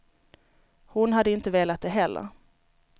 Hon hade inte velat det heller.